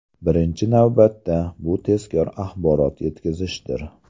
Birinchi navbatda, bu tezkor axborot yetkazishdir.